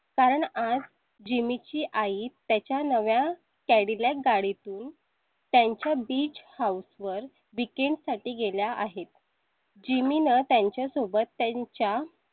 कारण आज jimmy ची आई त्याच्या नव्या cadillac गाडी तून त्यांच्या beach house वर weekend साठी गेल्या आहेत. jimmy नं. त्यांच्या सोबत त्यांच्या.